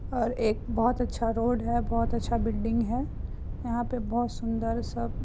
और एक बहुत अच्छा रोड हैबहुत अच्छा बिल्डिंग है | यहां पर बहुत सुंदर सब --